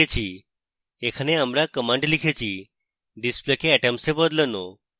এখানে আমরা commands লিখেছি display কে atoms we বদলানো